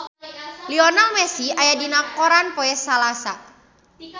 Lionel Messi aya dina koran poe Salasa